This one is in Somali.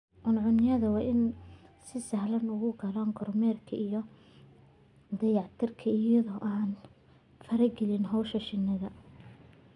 Cuncunyadu waa inay si sahlan u galaan kormeerka iyo dayactirka iyada oo aan la faragelin hawlaha shinnida.